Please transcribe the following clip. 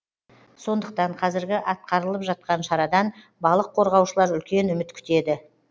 сондықтан қазіргі атқарылып жатқан шарадан балық қорғаушылар үлкен үміт күтеді